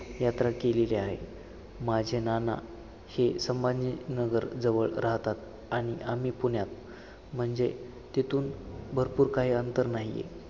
यात्रा केलेली आहे. माझे नाना स~ संभाजी नगरजवळ राहतात आणि आम्ही पुण्यात म्हणजे तिथून भरपूर काही अंतर नाहीये.